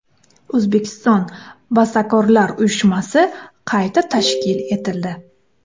O‘zbekiston bastakorlar uyushmasi qayta tashkil etildi.